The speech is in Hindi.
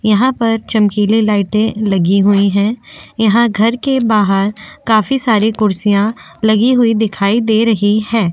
यहाँ पर चमकीले लाइटे लगी हुई है यहाँ घर के बाहर काफी सारे कुर्सियां लगी हुई दिखाई दे रही है।